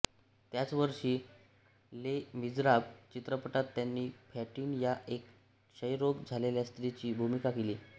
त्याच वर्षी Les Miserables चित्रपटात त्यांनी फँटीन या एका क्षयरोग झालेल्या स्त्रीची भूमिका केली